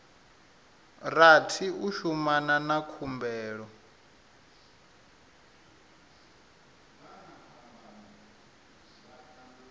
rathi u shumana na khumbelo